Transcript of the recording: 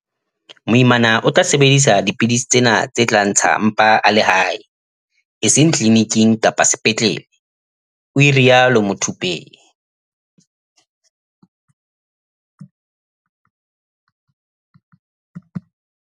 "Moimana o tla sebedisa dipidisi tsena tse tla ntsha mpa a le hae, e seng tliliniking kapa sepetlele," o rialo Muthuphei.